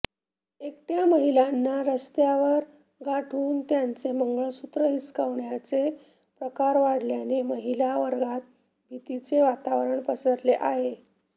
एकटय़ा महिलांना रस्त्यात गाठून त्यांचे मंगळसूत्र हिसकाविण्याचे प्रकार वाढल्याने महिला वर्गात भीतीचे वातावरण पसरले आहे